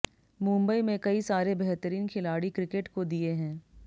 मुंबई में कई सारे बेहतरिन खिलाड़ी क्रिकेट को दिये है